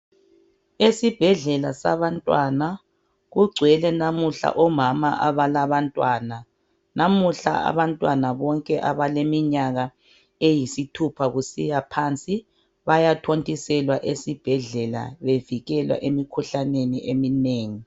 Esibhedlela sabantwana kugcwele namuhla omama abalabantwana. Namuhla abantwana bonke abaleminyaka eyisithupha kusiya phansi bayathontiselwa esibhedlela bevikelwa emikhuhlaneni eminengi.